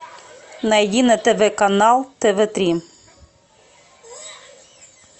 найди на тв канал тв три